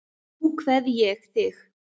Nú kveð ég þig.